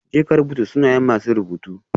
Jeka rubuta sunayen masu surutu